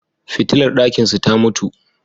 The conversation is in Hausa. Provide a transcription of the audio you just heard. Fitilar ɗakinsu ta mutu.